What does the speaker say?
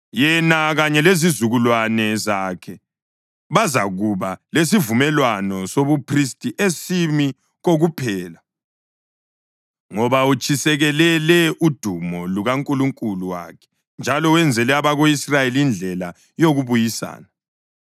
Yena kanye lezizukulwane zakhe bazakuba lesivumelwano sobuphristi esimi kokuphela, ngoba utshisekelele udumo lukaNkulunkulu wakhe njalo wenzele abako-Israyeli indlela yokubuyisana.”